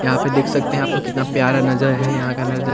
यहाँ पे देख सकते है यहाँ पे कितना प्यारा नजर है यहाँ का नजर--